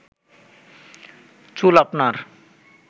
চুল আপনার